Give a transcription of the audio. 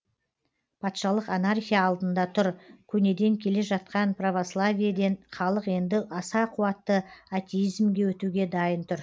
патшалық анархия алдында тұр көнеден келе жатқан православиеден халық енді аса қуатты атеизмге өтуге дайын тұр